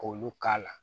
K'olu k'a la